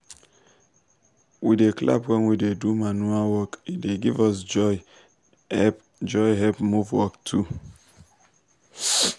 we da clap wen we da do manure work e da give us joy help joy help move work too